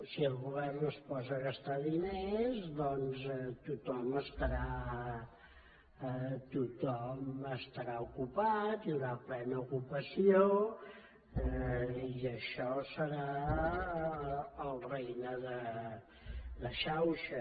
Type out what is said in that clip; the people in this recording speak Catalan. si el govern es posa a gastar diners doncs tothom estarà ocupat hi haurà plena ocupació i això serà el regne de xauxa